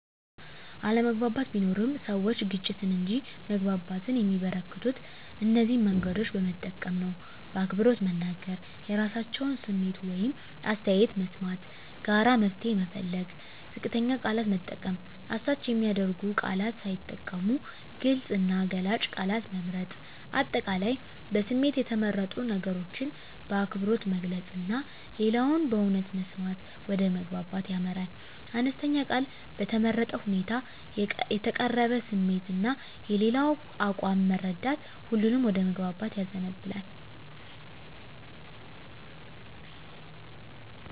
አለመግባባት ቢኖርም፣ ሰዎች ግጭትን እንጂ መግባባትን የሚያበረከቱት እነዚህን መንገዶች በመጠቀም ነው በአክብሮት መናገር – የራሳቸውን ስሜት ወይም አስተያየት መስማት ጋራ መፍትሄ መፈለግ ዝቅተኛ ቃላት መጠቀም – አሳች የሚያደርጉ ቃላት ሳይጠቀሙ ግልጽ እና ገላጭ ቃላት መምረጥ። አጠቃላይ በስሜት የተመረጡ ነገሮችን በአክብሮት መግለጽ እና ሌላውን በእውነት መስማት ወደ መግባባት ያመራል። አነስተኛ ቃል በተመረጠ ሁኔታ የተቀረበ ስሜት እና የሌላው አቋም መረዳት ሁሉንም ወደ መግባባት ያዘንባል።